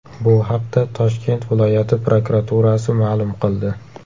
Bu haqda Toshkent viloyati prokuraturasi ma’lum qildi .